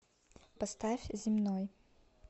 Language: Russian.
поставь земной